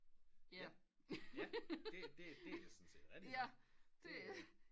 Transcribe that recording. Ja det er sådan set rigtigt nok